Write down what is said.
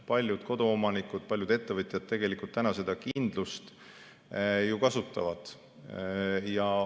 Paljud koduomanikud ja paljud ettevõtjad tegelikult seda kindlust ju kasutavad.